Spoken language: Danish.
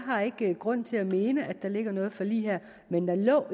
har ikke grund til at mene at der ligger noget forlig her men der lå